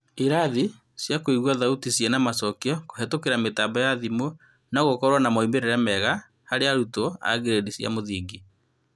Irathi cia kũigua thauti ciĩna-macokĩo kũhetũkĩra mĩtambo ya thimũ no-gũkorwo na moimĩrĩra mega harĩ arutwo a ngirĩndi cia mũthingi ?